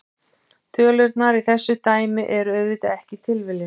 Tölurnar í þessu dæmi eru auðvitað ekki tilviljun.